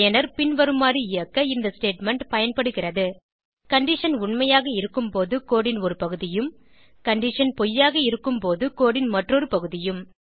பயனர் பின்வருமாறு இயக்க இந்த ஸ்டேட்மெண்ட் பயன்படுகிறது கண்டிஷன் உண்மையாக இருக்கும்போது கோடு ன் ஒருபகுதியும் கண்டிஷன் பொய்யாக இருக்கும்போது கோடு ன் மற்றொரு பகுதியும்